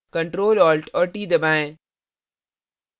control alt और t दबाएँ